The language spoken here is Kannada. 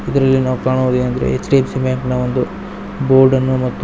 ಇದರಲ್ಲಿ ನಾವು ಕಾಣುವುದೇನೆಂದರೆ ಎಚ್_ಡಿ_ಎಫ್_ಸಿ ಬ್ಯಾಂಕ್ ಇನ ಒಂದು ಬೋರ್ಡ್ ಅನ್ನು ಮತ್ತು --